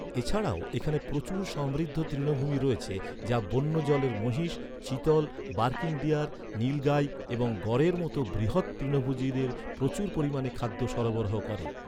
এছাড়াও এখানে প্রচুর সমৃদ্ধ তৃণভূমি রয়েছে, যা বন্য জলের মহিষ, চিতল, বার্কিং ডিয়ার, নীল গাই এবং গরের মতো বৃহৎ তৃণভোজীদের প্রচুর পরিমাণে খাদ্য সরবরাহ করে।